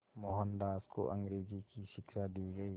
मोहनदास को अंग्रेज़ी की शिक्षा दी गई